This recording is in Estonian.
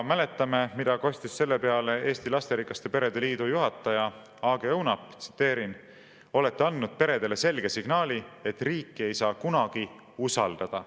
Mäletame, mida kostis selle peale Eesti Lasterikaste Perede Liidu juhataja Aage Õunap, tsiteerin: "Olete andnud peredele selge signaali, et riiki ei saa kunagi usaldada.